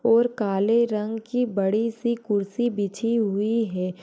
और काले रंग की बड़ी सी कुर्सी बिछी हुई है।